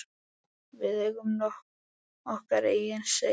Við eigum okkar eigin Seif.